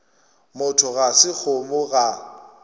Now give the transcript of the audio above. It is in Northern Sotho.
motho ga se kgomo ga